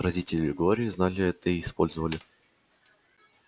родители глории знали это и использовали